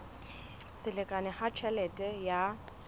se lekane ha tjhelete ya